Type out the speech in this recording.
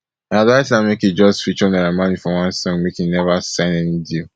i advice am say make e just feature naira marley for one song make e neva sign any deal